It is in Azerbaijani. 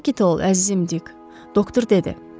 Sakit ol, əzizim Dik, doktor dedi.